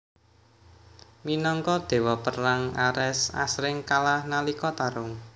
Minangka dewa perang Ares asring kalah nalika tarung